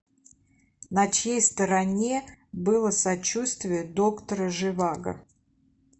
на чьей стороне было сочувствие доктора живаго